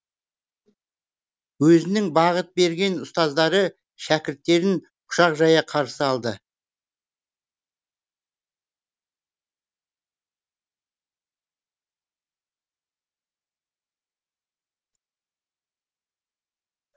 өзінің бағыт берген ұстаздары шәкірттерін құшақ жая қарсы алды